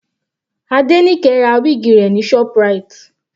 Adenike ra wig rẹ̀ ní ShopRite.